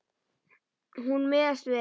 Hún miðast við.